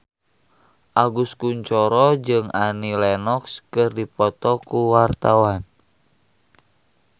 Agus Kuncoro jeung Annie Lenox keur dipoto ku wartawan